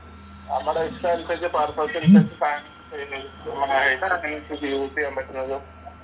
നമ്മുടെ ഇഷ്ട്ടം അനുസരിച്ചു യൂസ് ചെയ്യാൻ പറ്റുന്നതും